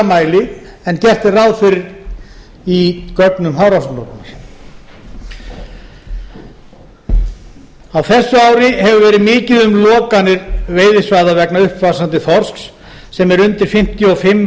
mæli en gert er ráð fyrir í gögnum hafrannsóknastofnunar á þessu ári hefur verið mikið um lokanir veiðisvæða vegna uppvaxandi þorsks sem er undir fimmtíu og fimm